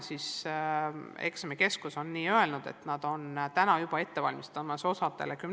Eksamikeskus on öelnud, et nad on hakanud juba osale gümnaasiumidele teste ette valmistama.